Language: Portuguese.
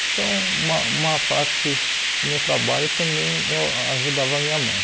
Então uma uma parte do meu trabalho também eu ajudava a minha mãe.